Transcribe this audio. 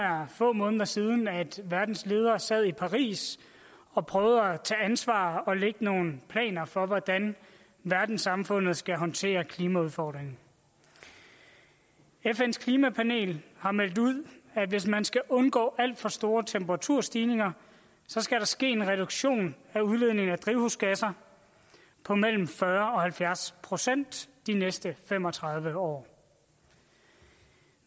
er få måneder siden at verdens ledere sad i paris og prøvede at tage ansvar og lægge nogle planer for hvordan verdenssamfundet skal håndtere klimaudfordringen fns klimapanel har meldt ud at hvis man skal undgå alt for store temperaturstigninger skal der ske en reduktion af udledningen af drivhusgasser på mellem fyrre procent og halvfjerds procent de næste fem og tredive år